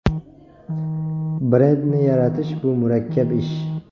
Brendni yaratish bu murakkab ish.